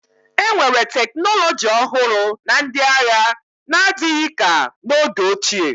enwere teknọlọji ọhụrụ na ndị agha n'adịghị ka n'oge ochie